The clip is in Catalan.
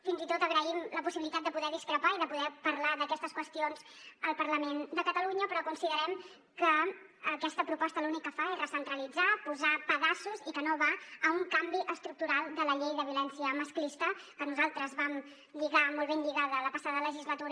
fins i tot agraïm la possibilitat de poder discrepar i de poder parlar d’aquestes qüestions al parlament de catalunya però considerem que aquesta proposta l’únic que fa és recentralitzar posar pedaços i que no va cap a un canvi estructural de la llei de violència masclista que nosaltres vam lligar molt ben lligada la passada legislatura